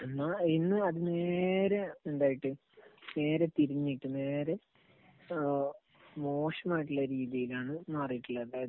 എന്നാൽ ഇന്ന് അത് നേരെ എന്തായിട്ട്, നേരെ തിരിഞ്ഞിട്ട്, നേരെ മോശമായിട്ടുള്ള രീതിയിലാണ് മാറിയിട്ടുള്ളത്. അതായത്